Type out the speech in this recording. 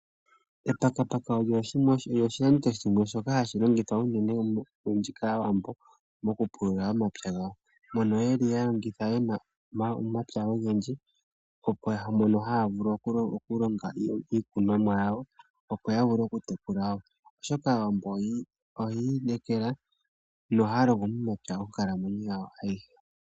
Etakataka olyo oshiyenditho shimwe shoka hashi longithwa unene olundji kAawambo, mokupulula omapya gawo. Mono yeli yena omapya ogendji mono haya vulu okulonga iikunomwa yawo opo ya vule okutekula. Oshoka Aawambo oya inekela nohaya longo momapya monkalamweyo yawo ayihe.